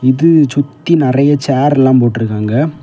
இது சுத்தி நெறைய சேர்ல எல்லா போட்டு இருக்காங்க.